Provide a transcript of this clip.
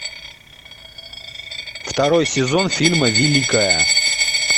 второй сезон фильма великая